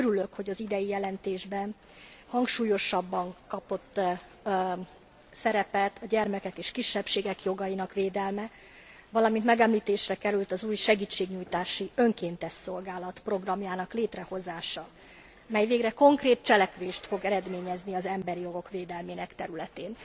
Örülök, hogy az idei jelentésben hangsúlyosabban kapott szerepet a gyermekek és a kisebbségek jogainak védelme, valamint említésre került az új segítségnyújtási önkéntes szolgálat programjának létrehozása, mely végre konkrét cselekvést fog eredményezni az emberi jogok védelmének területén.